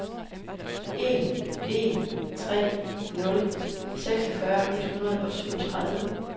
en en tre nul seksogfyrre et hundrede og syvogtredive